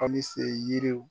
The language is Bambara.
Ali se yiriw